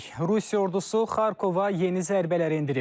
Rusiya ordusu Xarkova yeni zərbələr endirib.